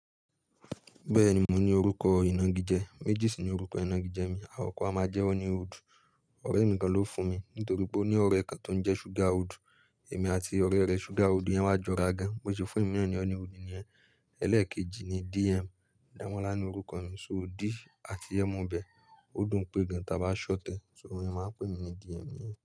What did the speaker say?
Bẹ́ẹ̀ni mò ní orúkọ ìnagijẹ, Mejì sì ni orúkọ ìnagijẹ mi, àkọ̀ kó amáa jẹ́ Honey Hood. Ọ̀rẹ́ mi kan ló fún mi, nítorí pé ó ní ọ̀rẹ́ kan tó ń jẹ́ ṣúgà Hood. Èmi àti ọ̀rẹ́ rẹ̀ ṣúgà Hood yẹn wá jọ ra gan, bó ṣe fún emi na ní Honey Hood nìyẹn. Ẹ̀lẹ́ẹ̀kejì ni DM, Damọ́lá ni orúkọ mi, ṣó D àti M ibẹ, ó dùn pé gan tà bá ṣhort e. Ṣó o máa ń pè mí ní DM yẹn.